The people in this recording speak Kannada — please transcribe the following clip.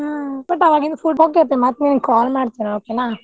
ಹಾ but ಅವಾಗಿನ್ ಮತ್ತ್ ನಿಂಗ್ call ಮಾಡ್ತೇನ್ okay ನಾ?